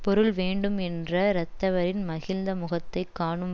பொருள் வேண்டும் என்ற ரத்தவரின் மகிழ்ந்த முகத்தை காணும்